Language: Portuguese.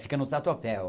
Fica no Tatuapé